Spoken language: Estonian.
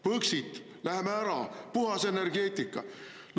Põxit, läheme ära, puhas energeetika.